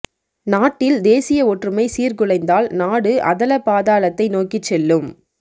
நாட்டில் தேசிய ஒற்றுமை சீர்குலைத்தால் நாடு அதாள பாதாலத்தை நோக்கிச் செல்லும்